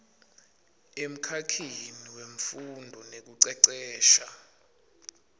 emkhakheni wemfundvo nekucecesha